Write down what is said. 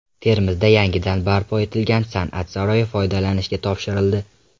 Termizda yangidan barpo etilgan San’at saroyi foydalanishga topshirildi.